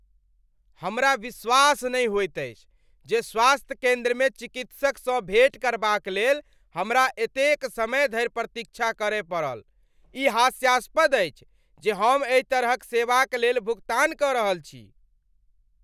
हमरा विश्वास नहि होइत अछि जे स्वास्थ्य केंद्रमे चिकित्सकसँ भेंट करबाक लेल हमरा एतेक समय धरि प्रतीक्षा करय पड़ल! ई हास्यास्पद अछि जे हम एहि तरहक सेवाक लेल भुगतान कऽ रहल छी। "